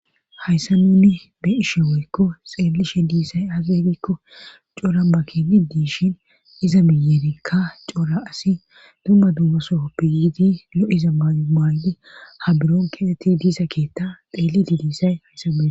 Hayssa nunni be ishe woykko xeellishe diissay azebikko cora makeni diishin iza miyerinka cora asi dumma duumasohoppe yiidi lo7iza ma maaydi ha buron kexeti diisa keetta xeellidi diisay hayssa wee.